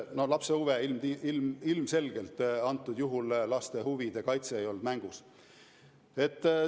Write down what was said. No ilmselgelt antud juhul laste huvide kaitse mängus ei olnud.